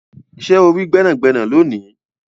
Ṣe o ri gbẹnagbẹna loni?